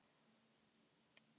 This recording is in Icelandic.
Er þér ekki kalt?